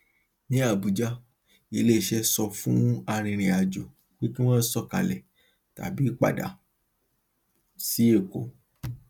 ní abuja iléiṣẹ sọ fún arìnrìnàjò pé kí wọn sọkalẹ tàbí padà sí èkó